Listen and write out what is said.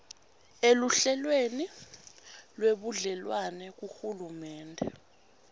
eluhlelweni lwebudlelwane kuhulumende